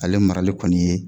Ale marali kɔni ye